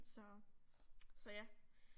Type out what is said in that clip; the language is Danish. Så. Så ja